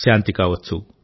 శాంతి కావచ్చు